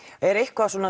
er eitthvað